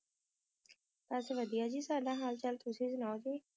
ਆਪ ਵੇ ਵੁੜੀਆਂ ਹੋਰ ਕਿ ਕਰ ਰਹੀ ਸੀ